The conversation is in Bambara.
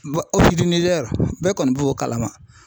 bɛɛ kɔni b'o kalama.